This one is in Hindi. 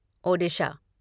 ओडिशा